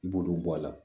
I b'olu bɔ a la